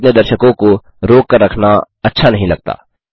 मुझे अपने दर्शकों को रोक कर रखना अच्छा नहीं लगता